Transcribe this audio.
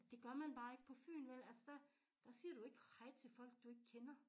Det gør man bare ikke på Fyn vel altså der der siger du ikke hej til folk du ikke kender